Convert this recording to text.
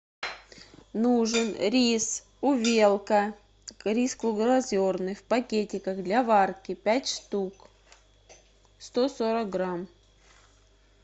нужен рис увелка рис круглозерный в пакетиках для варки пять штук сто сорок грамм